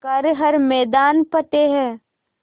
कर हर मैदान फ़तेह